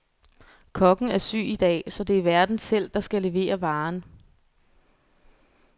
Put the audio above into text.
Kokken er syg i dag, så det er værten selv, der skal levere varen.